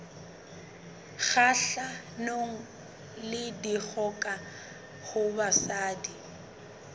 kgahlanong le dikgoka ho basadi